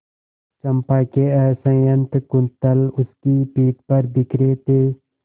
चंपा के असंयत कुंतल उसकी पीठ पर बिखरे थे